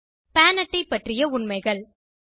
பான் அட்டை பற்றிய உண்மைகள்